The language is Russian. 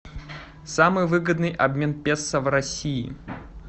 самый выгодный обмен песо в россии